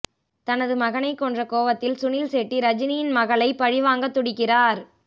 தனது மகனை கொன்ற கோவத்தில் சுனில் செட்டி ரஜினியின் மகளை பழிவாங்க துடிக்கிறார்